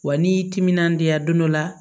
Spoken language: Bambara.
Wa n'i y'i timinandiya don dɔ la